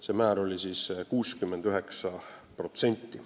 See määr oli 69%.